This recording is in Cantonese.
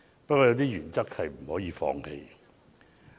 不過，有些原則也不可以放棄。